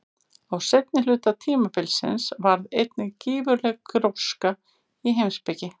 Á seinni hluta tímabilsins varð einnig gífurleg gróska í heimspeki.